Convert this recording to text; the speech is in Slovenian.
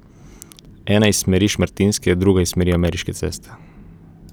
Ena iz smeri Šmartinske, druga iz smeri Ameriške ceste.